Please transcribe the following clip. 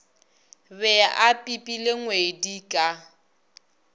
be a pipile ngwedi ka